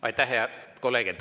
Aitäh, hea kolleeg!